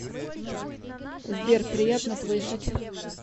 сбер приятно слышать